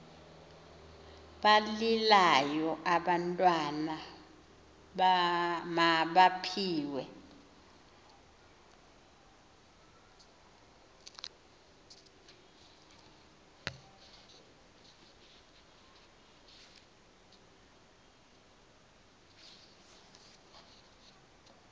balilayo abantwana mabaphiwe